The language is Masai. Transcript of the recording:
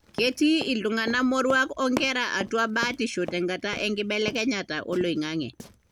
ketii iltungana moruak onkera atua batisho tenkata enkibelekenyata oloingange.